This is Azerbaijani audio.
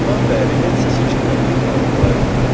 Ondan bəri heç səs eşitmədiyimi xatırlayıram.